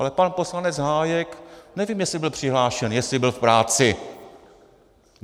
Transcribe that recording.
Ale pan poslanec Hájek - nevím, jestli byl přihlášen, jestli byl v práci!